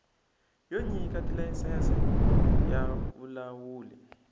yo nyika tilayisense ya vulawuli